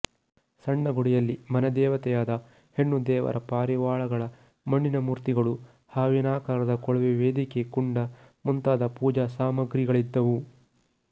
ಸಣ್ಣ ಗುಡಿಯಲ್ಲಿ ಮನೆದೇವತೆಯಾದ ಹೆಣ್ಣುದೇವರ ಪಾರಿವಾಳಗಳ ಮಣ್ಣಿನ ಮೂರ್ತಿಗಳು ಹಾವಿನಾಕಾರದ ಕೊಳವೆ ವೇದಿಕೆ ಕುಂಡ ಮುಂತಾದ ಪೂಜಾಸಾಮಗ್ರಿಗಳಿದ್ದುವು